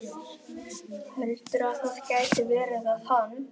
Heldurðu að það geti verið að hann